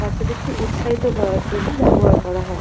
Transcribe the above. বাচ্চাদেরকে উৎসাহিত করার জন্য ব্যবহার করা হয়।